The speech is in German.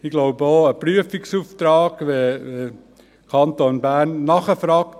Ich glaube, auch ein Prüfungsauftrag ist nicht nötig, wenn man im Kanton Bern nachfragt.